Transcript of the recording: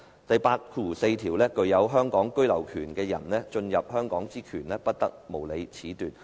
"第八條第四款訂明："具有香港居留權的人進入香港之權，不得無理褫奪。